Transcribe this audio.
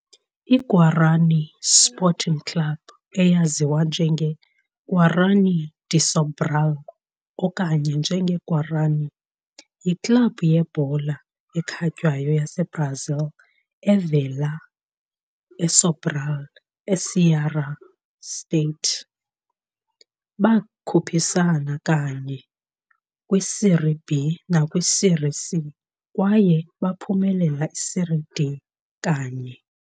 IGuarany Sporting Club, eyaziwa njenge Guarany de Sobral okanye njenge Guarany, yiklabhu yebhola ekhatywayo yaseBrazil evela eSobral, eCeará state. Bakhuphisane kanye kwi-Série B nakwi-Série C, kwaye baphumelela i-Série D kanye.